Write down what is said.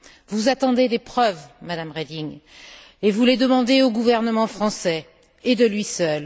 Vous attendez des preuves, Madame Reding, et vous les demandez au gouvernement français et à lui seul.